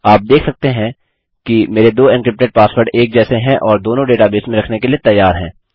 आप देख सकते हैं कि मेरे 2 एन्क्रिप्टेड पासवर्ड एक जैसे हैं और दोनों डेटाबेस में रखने के लिए तैयार हैं